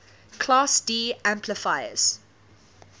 class d amplifiers